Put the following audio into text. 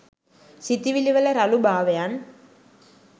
සිතුවිලිවල රළුභාවයන්